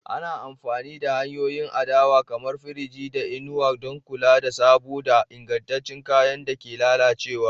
Ana amfani da hanyoyin adanawa kamar firiji da inuwa don kula da sabo da ingancin kayan da ke lalacewa.